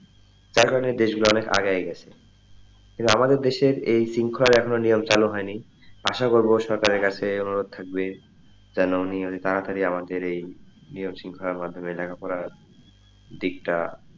তার কারণে দেশ গুলা অনেকটা আগায়া গেসে কিন্তু আমাদের দেশে এই শিঙ্খলার নিয়ম এখনো চালু হয় নাই আশা করবো সকারের কাছে অনুরোধ থাকবে যেন near ই তাড়াতাড়ি যেন আমাদের এই নিয়ম শিঙ্খলার মাধ্যমে লেখাপড়া দিকটা,